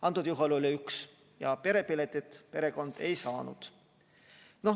Antud juhul oli üks ja perepiletit perekond ei saanud.